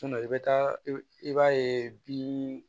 i bɛ taa i b'a ye bin